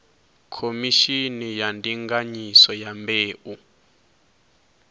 khomishini ya ndinganyiso ya mbeu